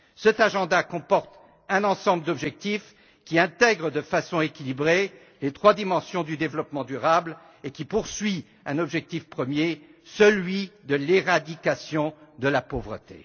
Cet agenda comporte un ensemble d'objectifs qui intègrent de façon équilibrée les trois dimensions du développement durable et poursuit un objectif premier l'éradication de la pauvreté.